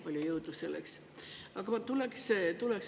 Palju jõudu selleks!